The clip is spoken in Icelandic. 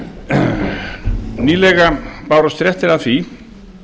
öðrum nýlega bárust fréttir af því